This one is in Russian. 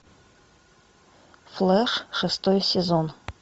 флэш шестой сезон